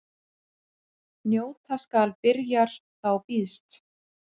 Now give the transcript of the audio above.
Njóta skal byrjar þá býðst.